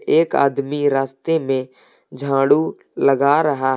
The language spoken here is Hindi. एक आदमी रास्ते में झाड़ू लगा रहा है।